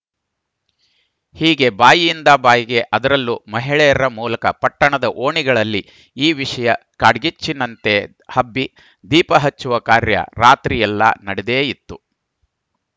ಹೀಗೆ ಬಾಯಿಂದ ಬಾಯಿಗೆ ಅದರಲ್ಲೂ ಮಹಿಳೆಯರ ಮೂಲಕ ಪಟ್ಟಣದ ಓಣಿಗಳಲ್ಲಿ ಈ ವಿಷಯ ಕಾಡ್ಗಿಚ್ಚಿನಂತೆ ಹಬ್ಬಿ ದೀಪ ಹಚ್ಚುವ ಕಾರ್ಯ ರಾತ್ರಿ ಎಲ್ಲಾ ನಡದೇ ಇತ್ತು